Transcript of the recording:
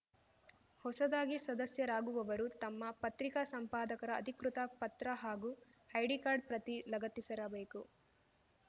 ಹೊಸದಾಗಿ ಸದಸ್ಯರಾಗುವವರು ತಮ್ಮ ಪತ್ರಿಕಾ ಸಂಪಾದಕರ ಅಧಿಕೃತ ಪತ್ರ ಹಾಗೂ ಐಡಿ ಕಾರ್ಡ್‌ ಪ್ರತಿ ಲಗತ್ತಿಸಿರಬೇಕು